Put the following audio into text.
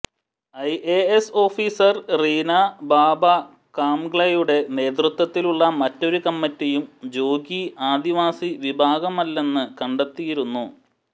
IAS officer Reena Baba കാംഗ്ലെയുടെ നേതൃത്വത്തിലുള്ള മറ്റൊരു കമ്മിറ്റിയും ജോഗി ആദിവാസി വിഭാഗമല്ലെന്ന് കണ്ടെത്തിയിരുന്നു